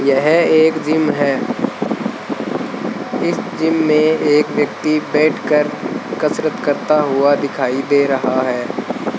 यह एक जिम है इस जिम में एक व्यक्ति बैठकर कसरत करता हुआ दिखाई दे रहा है।